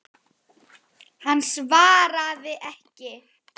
Hann svaraði ekki.